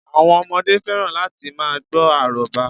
Àwọn ọmọdé fẹ́ràn láti ma gbọ́ àrọ́bá